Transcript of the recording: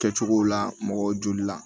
Kɛcogow la mɔgɔw joli la